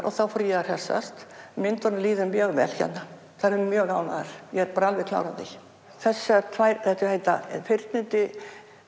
og þá fór ég að hressast myndunum líður mjög vel hérna þær eru mjög ánægðar ég er bara alveg klár á því þessar tvær heita fyrnindi